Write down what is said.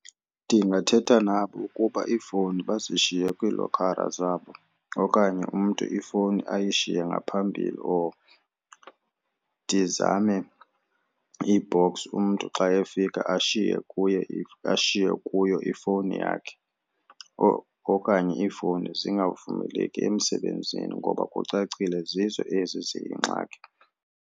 Ndingathetha nabo ukuba iifowuni bazishiyele kwiilokhara zabo okanye umntu ifowuni ayishiye ngaphambili or ndizame i-box umntu xa efika ashiye kuyo, ashiye kuyo ifowuni yakhe okanye ifowuni zingamvumeleki emsebenzini ngoba kucacile zizo ezi ziyingxaki.